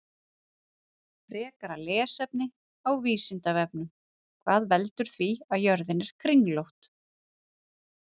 Frekara lesefni á Vísindavefnum: Hvað veldur því að jörðin er kringlótt?